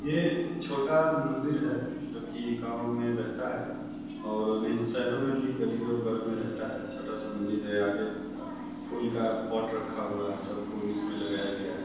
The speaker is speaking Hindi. ये छोटा मंदिर है जोकि गाँव में रहता है और नहीं तो शहरों में भी गली वगैरह में रहता है छोटा-सा मंदिर है। आगे फूल का पॉट रखा हुवा है। सब फूल इसमें लगाया गया है।